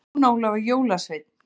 Jón Ólafur jólasveinn